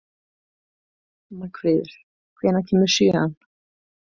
Magnfríður, hvenær kemur sjöan?